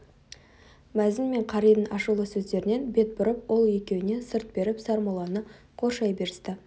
мәзін мен қаридің ашулы сөздерінен бет бұрып ол екеуіне сырт беріп сармолланы қоршай берісті